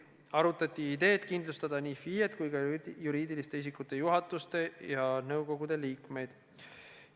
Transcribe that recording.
Arutati ideed kindlustada nii FIE-d kui ka juriidiliste isikute juhatuste ja nõukogude liikmeid.